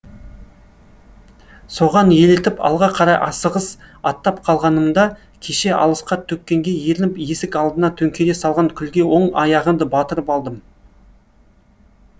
соған елітіп алға қарай асығыс аттап қалғанымда кеше алысқа төккенге ерініп есік алдына төңкере салған күлге оң аяғымды батырып алдым